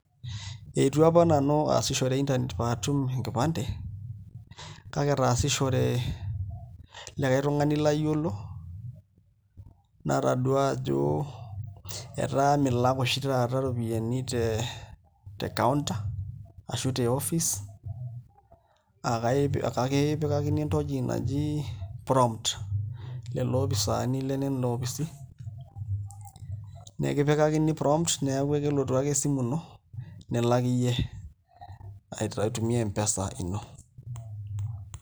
Eitu apa nanu aasishore internet pee atum enkipande kake etaasishore likai tung'ani layiolo nataduaa ajo etaa milak oshi taata iropiyiani te counter ashu te office akakipikakini entoki naji prompt lelo opisaani lenena opisi nekipikakini promt neeku ekelotu ake esimu ino nilak iyie aitumia M-pesa ino.